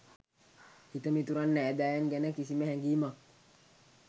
හිතමිතුරන් නෑදෑයන් ගැන කිසිම හැගීමක්